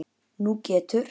Nú getur